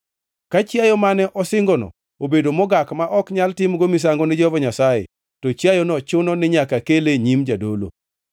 Ka chiayo mane osingono obedo mogak ma ok nyal timgo misango ni Jehova Nyasaye, to chiayono chuno ni nyaka kele e nyim jadolo,